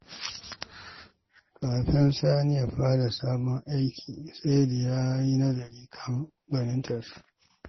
Kafin Sani ya fara sabon aiki, sai da ya yi nazari kan gwanintarsa.